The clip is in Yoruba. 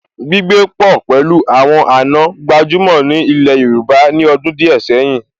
Gbígbé pọ̀ pẹ̀lú àwọn àna gbajúmọ̀ ní ilẹ̀ Yorùbá ní ọdún díẹ̀ sẹ́yìn